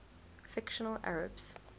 fictional arabs